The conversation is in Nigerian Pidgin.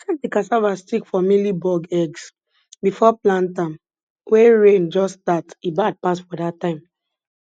check di cassava stick for mealybug eggs bifo plant am wen rain jus start e bad pass for dat time